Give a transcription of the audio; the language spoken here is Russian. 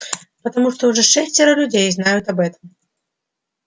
потому что уже шестеро людей знают об этом